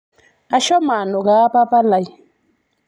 oashomo anukaa papalai